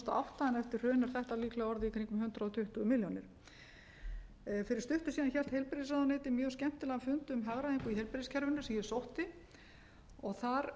átta en eftir hrun er þetta líklega orðið í kringum hundrað tuttugu milljónir fyrir stuttu síðan hélt heilbrigðisráðuneytið mjög skemmtilegan fund um hagræðingu í heilbrigðiskerfinu sem ég sótti þar